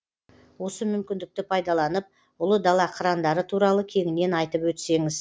осы мүмкіндікті пайдаланып ұлы дала қырандары туралы кеңінен айтып өтсеңіз